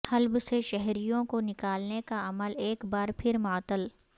حلب سے شہریوں کو نکالنے کا عمل ایک بار پھر معطل